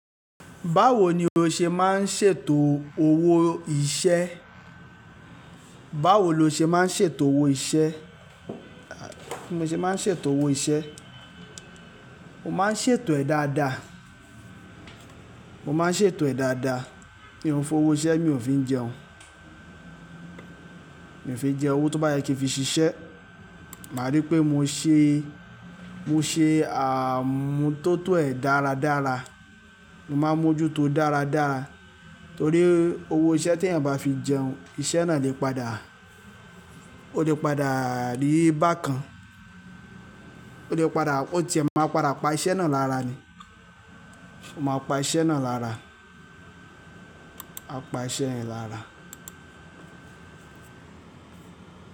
Báwo ni o ṣe máa ń ṣètò owó iṣẹ́? Báwo lo ṣe máa ń ṣètò owó iṣẹ́? Bí mo ṣe máa ń ṣètò owó iṣẹ́, mo máa ń ṣètò ẹ̀ dáadáa. Mo máa ń ṣètò ẹ̀ dáadáa. Mi ò f'owó iṣẹ́ mi ò fi ń jẹun. Mi ò fi jẹun owó tó bá yẹ kí n fi ṣiṣẹ́. Máa rí pé mo ṣe, mo ṣe àmútótó ẹ̀ dáradára. Mo máa mójú tó dáradára torí owó iṣẹ́ tí èèyàn bá fi jẹun, iṣẹ́ náà le padà. Ó le padà rí bákan. Ó lè padà ó ti ẹ̀ màá padà pa iṣẹ́ náà lára ni. Mo máa pa iṣẹ́ náà lára. Á pa iṣẹ́ yẹn lára.